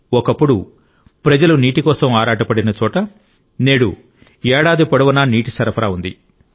ఒకప్పుడు ప్రజలు నీటి కోసం ఆరాటపడిన చోట నేడు ఏడాది పొడవునా నీటి సరఫరా ఉంది